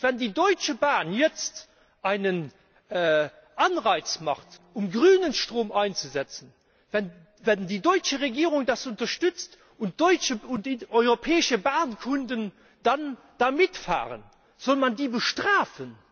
Und wenn die Deutsche Bahn jetzt einen Anreiz schafft, um ,,grünen Strom einzusetzen, wenn die deutsche Regierung das unterstützt und deutsche und europäische Bahnkunden dann da mitfahren, soll man die bestrafen?